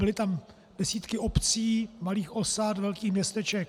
Byly tam desítky obcí, malých osad, velkých městeček.